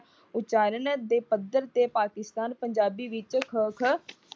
ਉਚਾਰਣ ਦੇ ਪੱਧਰ ਤੇ ਪਾਕਿਸਤਾਨ ਪੰਜਾਬੀ ਵਿੱਚ